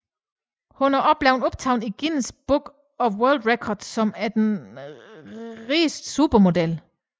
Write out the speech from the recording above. Hun er også blevet optaget i Guinness Book of World Records som den rigeste supermodel